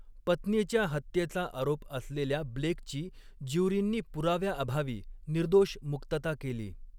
पत्नीच्या हत्येचा आरोप असलेल्या ब्लेकची, ज्युरींनी पुराव्याअभावी निर्दोष मुक्तता केली.